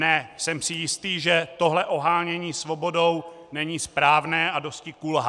Ne, jsem si jist, že tohle ohánění svobodou není správné a dosti kulhá.